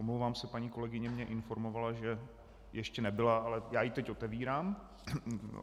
Omlouvám se, paní kolegyně mě informovala, že ještě nebyla, ale já ji teď otevírám.